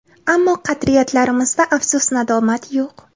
Ammo qadriyatlarimizda afsus-nadomat yo‘q.